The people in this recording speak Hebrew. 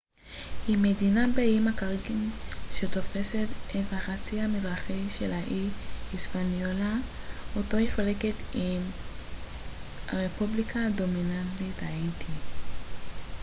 הרפובליקה הדומיניקנית בספרדית: republica dominicana היא מדינה באיים הקאריביים שתופסת את החצי המזרחי של האי היספניולה אותו היא חולקת עם האיטי